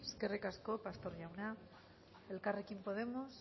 eskerrik asko pastor jauna elkarrekin podemos